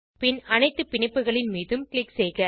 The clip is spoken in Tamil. பின் அனைத்து பிணைப்புகளின் மீதும் க்ளிக் செய்க